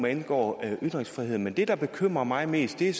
angår ytringsfrihed men det der bekymrer mig mest er